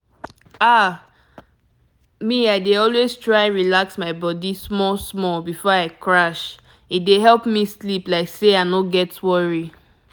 ah pause—me i dey always try relax my body small-small before i crash e dey help me sleep like say i no get worry.